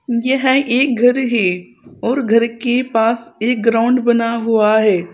यह एक घर है और घर के पास एक ग्राउंड बना हुआ है।